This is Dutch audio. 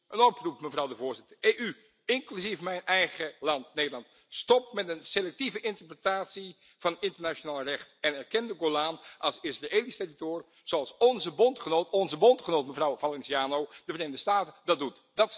Een oproep, mevrouw de Voorzitter, EU, inclusief mijn eigen land, Nederland stop met een selectieve interpretatie van het internationaal recht en erken de Golan als Israëlisch zoals onze bondgenoot onze bondgenoot, mevrouw Valenciano de Verenigde Staten, dat doet.